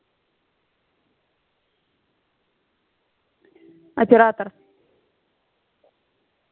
оператор